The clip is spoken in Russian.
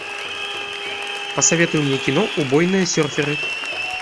посоветуй мне кино убойные серферы